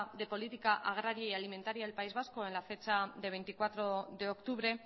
de política agraria y alimentaria del país vasco en la fecha de veinticuatro de octubre